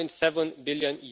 1.7 billion.